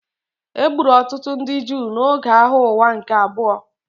E gburu ọtụtụ ndị Juu n’oge Agha Ụwa nke Abụọ.